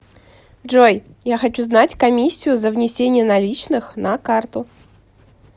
джой я хочу знать комиссию за внесение наличных на карту